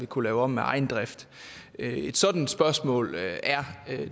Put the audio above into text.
kunne lave om af egen drift et sådant spørgsmål er